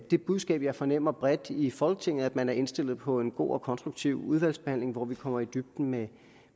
det budskab jeg fornemmer bredt i folketinget nemlig at man er indstillet på en god og konstruktiv udvalgsbehandling hvor vi kommer i dybden med